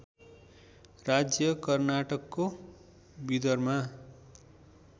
राज्य कर्नाटकको विदरमा